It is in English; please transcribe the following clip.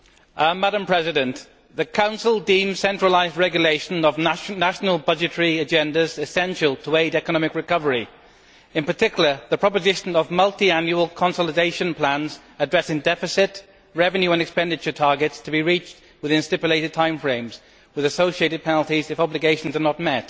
Madam President, the Council deems centralised regulation of national budgetary agendas essential to aid economic recovery in particular, the proposal of multiannual consolidation plans addressing deficit, revenue and expenditure targets to be reached within stipulated time frames with associated penalties if obligations are not met.